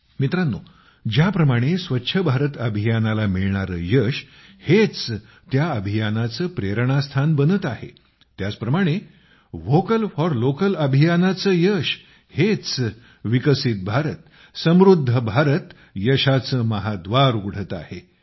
मित्रांनो ज्याप्रमाणे स्वच्छ भारत अभियानाला मिळणारे यश हेच त्या अभियानाचे प्रेरणास्थान बनत आहे त्याचप्रमाणे व्होकल फॉर लोकल अभियानाचे यश हेच विकसित भारत समृद्ध भारत यशाचे महाद्वार उघडत आहे